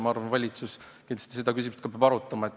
Ma arvan, et valitsus peab kindlasti ka seda küsimust arutama.